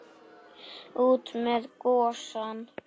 Út með gosann!